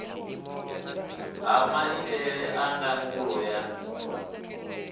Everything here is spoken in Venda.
ha maitele a ndangulo ya